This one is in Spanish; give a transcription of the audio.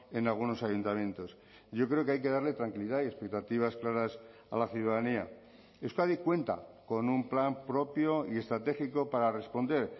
en algunos ayuntamientos yo creo que hay que darle tranquilidad y expectativas claras a la ciudadanía euskadi cuenta con un plan propio y estratégico para responder